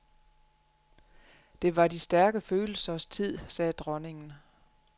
Det var de stærke følelsers tid, sagde dronningen.